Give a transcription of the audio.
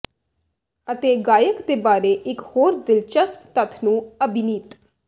ਅਤੇ ਗਾਇਕ ਦੇ ਬਾਰੇ ਇੱਕ ਹੋਰ ਦਿਲਚਸਪ ਤੱਥ ਨੂੰ ਅਭਿਨੀਤ